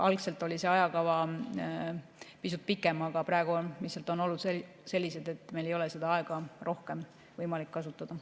Algselt oli see ajakava pisut pikem, aga praegu lihtsalt on olud sellised, et meil ei ole rohkem võimalik aega kasutada.